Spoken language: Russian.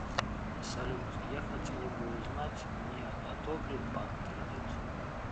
салют я хотела бы узнать мне одобрит банк кредит